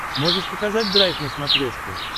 можешь показать драйв на смотрешке